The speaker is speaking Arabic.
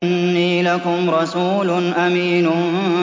إِنِّي لَكُمْ رَسُولٌ أَمِينٌ